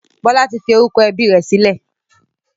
Bọlá tí fi orúkọ ẹbí rẹ sílẹ̀.